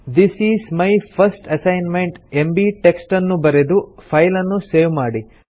this is my first assignment MB text ಅನ್ನು ಬರೆದು ಫೈಲನ್ನು ಸೇವ್ ಮಾಡಿ